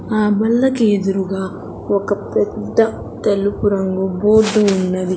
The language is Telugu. ఆ బల్లకి ఎదురుగా ఒక పెద్ద తెలుపు రంగు బోర్డు ఉన్నది.